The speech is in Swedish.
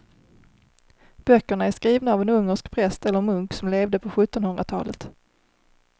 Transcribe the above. Böckerna är skrivna av en ungersk präst eller munk som levde på sjuttonhundratalet.